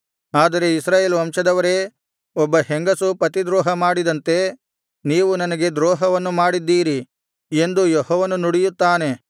ಆದರೆ ಇಸ್ರಾಯೇಲ್ ವಂಶದವರೇ ಒಬ್ಬ ಹೆಂಗಸು ಪತಿದ್ರೋಹ ಮಾಡಿದಂತೆ ನೀವು ನನಗೆ ದ್ರೋಹವನ್ನು ಮಾಡಿದ್ದೀರಿ ಎಂದು ಯೆಹೋವನು ನುಡಿಯುತ್ತಾನೆ